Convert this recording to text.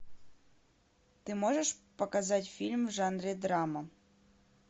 ты можешь показать фильм в жанре драма